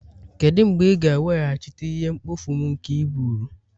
Kedu mgbe ị ga-eweghachite ihe mkpofu m nke i buuru?